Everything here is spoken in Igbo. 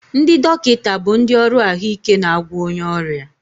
Ndị dọkịta bụ ndị ọrụ ahụike na-agwọ onye ọrịa